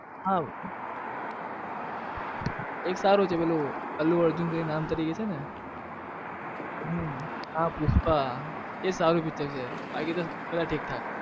હા એક સારું છે પેલું અલુ અર્જુન કરીને નામ તરીકે કરીને છે ને હમ હા પુષ્પા એ સારું picture છે બાકી બધા ઠીક થાક.